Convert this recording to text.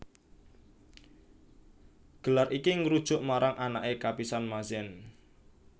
Gelar iki ngrujuk marang anaké kapisan Mazen